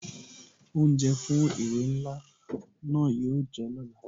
Oúnjẹ fún ìwé ńlá náà yo jẹ́ ọ̀la